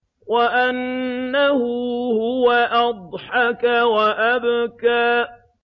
وَأَنَّهُ هُوَ أَضْحَكَ وَأَبْكَىٰ